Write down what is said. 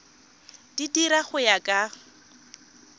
di dira go ya ka